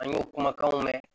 An y'o kumakanw mɛn